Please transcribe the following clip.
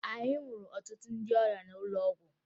Anyị hụrụ ọtụtụ ndị ọrịa n'ụlọ ọgwụ